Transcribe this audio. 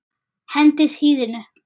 Hendið hýðinu.